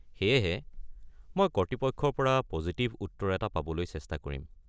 সেয়েহে, মই কৰ্তৃপক্ষৰ পৰা পজিটিভ উত্তৰ পাবলৈ সকলো চেষ্টা কৰিম।